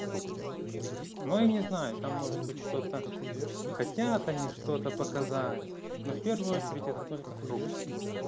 фрукты ну и не знаю там может быть что-то хотят они что-то показать но в первую очередь это только фрукты